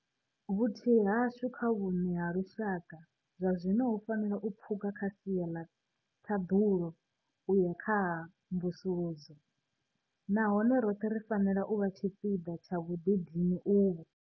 Vhuthihi hashu kha vhuṋe ha lushaka zwazwino hu fanela u pfuka kha sia ḽa ṱhaḓulo u ya kha ha mvusuludzo, nahone roṱhe ri fanela u vha tshipiḓa tsha vhuḓidini uvhu.